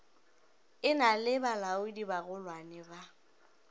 e na le balaodibagolwane ba